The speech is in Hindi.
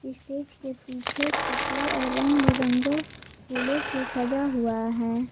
स्टेज के पीछे कपड़ों और रंग बिरंगो फूलों से सजा हुआ है।